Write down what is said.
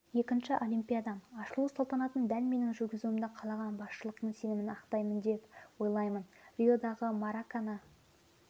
екінші олимпиадам ашылу салтанатын дәл менің жүргізуімді қалаған басшылықтың сенімін ақтаймын деп ойлаймын риодағы маракана